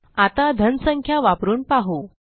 आता धन संख्या वापरून पाहू